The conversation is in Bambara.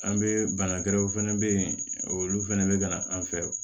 An bɛ banakɛrɛw fɛnɛ be yen olu fɛnɛ be ka na an fɛ